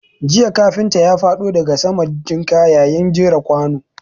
Jiya kafinta ya faɗo daga saman jinka yayin jera kwanu.